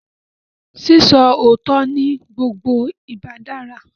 Sísọ òótọ́ ni gbogbo ìgbà dára